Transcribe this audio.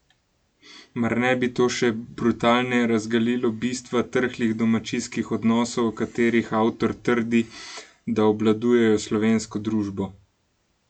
Mar ne bi to še brutalneje razgalilo bistva trhlih domačijskih odnosov, o katerih avtor trdi, da obvladujejo slovensko družbo?